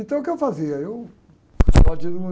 Então, o que eu fazia? Eu